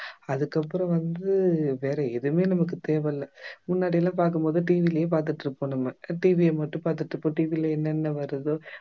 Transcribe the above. அதுக்கப்புறம் வந்து வேற எதுவுமே நமக்கு தேவை இல்லை முன்னாடி எல்லாம் பாக்கும் போது TV யிலேயே பார்த்திட்டிருப்போம் நம்ம TV ய மட்டும் பார்த்துட்டிருப்போம் TV ல என்னன்ன வருதோ